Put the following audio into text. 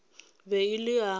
be e le a go